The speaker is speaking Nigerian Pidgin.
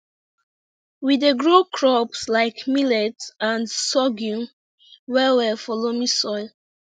we dey grow crops like millet and sorghum well well for loamy soil